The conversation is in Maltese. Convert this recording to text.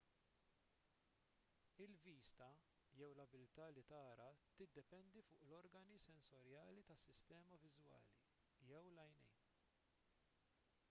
il-vista jew l-abilità li tara tiddependi fuq l-organi sensorjali tas-sistema viżwali jew l-għajnejn